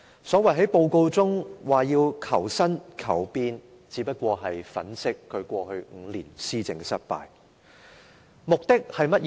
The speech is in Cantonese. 施政報告中的所謂求新、求變，只是想粉飾他過去5年施政的失敗。